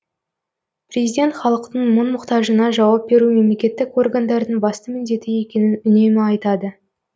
президент халықтың мұң мұқтажына жауап беру мемлекеттік органдардың басты міндеті екенін үнемі айтады